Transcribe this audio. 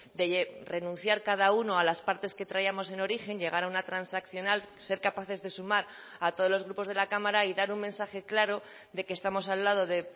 de renunciar cada uno a las partes que traíamos en origen llegar a una transaccional ser capaces de sumar a todos los grupos de la cámara y dar un mensaje claro de que estamos al lado de